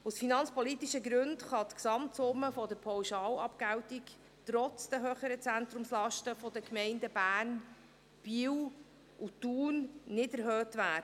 Aus finanzpolitischen Gründen kann die Gesamtsumme der Pauschalabgeltung trotz der höheren Zentrumslasten der Gemeinden Bern, Biel und Thun nicht erhöht werden.